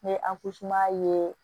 N ye ye